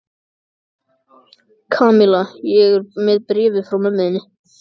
Kamilla, ég er með bréfið frá mömmu þinni.